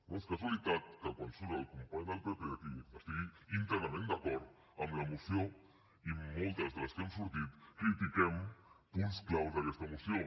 no és casualitat que quan surt el company del pp aquí estigui íntegrament d’acord amb la moció i moltes de les que hem sortit critiquem punts clau d’aquesta moció